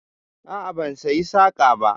A'a, ban saya saƙa ba.